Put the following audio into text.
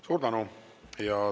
Suur tänu!